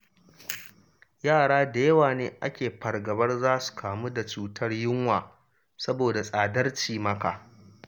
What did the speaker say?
Yara da yawa ne ake fargabar za su kamu da cutar yunwa saboda tsadar cimaka.